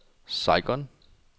Saigon